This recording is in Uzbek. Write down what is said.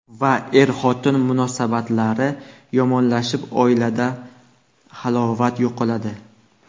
Va er-xotin munosabatlari yomonlashib oilada halovat yo‘qoladi.